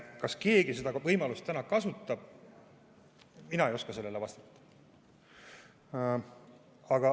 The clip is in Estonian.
Kas keegi seda võimalust kasutab – mina ei oska sellele vastata.